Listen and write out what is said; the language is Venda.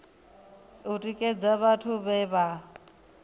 u tikedza vhathu vhe vha